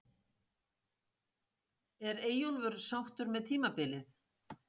Er Eyjólfur sáttur með tímabilið?